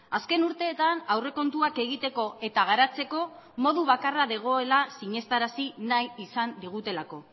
azken urteetan aurrekontuak egiteko eta garatzeko modu bakarra dagoela sinestarazi nahi izan digutelako